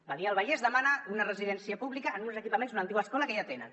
badia del vallès demana una residència pública en uns equipaments una antiga escola que ja tenen